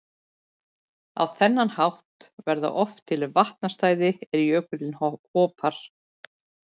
Á þennan hátt verða oft til vatnastæði er jökullinn hopar.